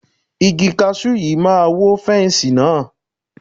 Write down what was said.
Igi kasú yìí máa wó fẹ́nsì náà.